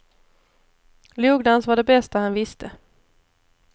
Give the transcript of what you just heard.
Logdans var det bästa han visste.